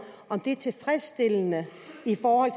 om det er tilfredsstillende i forhold